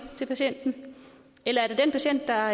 til patienterne eller er det den patient der